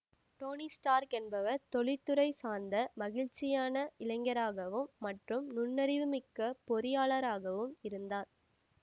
Dhoni Stark என்பவர் தொழிற்துறைச் சார்ந்த மகிழ்ச்சியான இளைஞராகவும் மற்றும் நுண்ணறிவுமிக்கப் பொறியாளராகவும் இருந்தார்